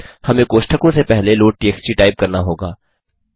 हमें कोष्ठकों से पहले लोडटीएक्सटी टाइप करना होगा